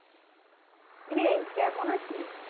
কীরে কেমন আছিস